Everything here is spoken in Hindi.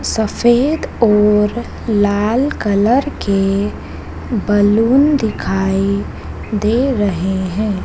सफ़ेद और लाल कलर के बलून दिखाई दे रहे है।